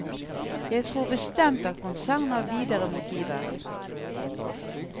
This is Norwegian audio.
Jeg tror bestemt at konsernet har videre motiver.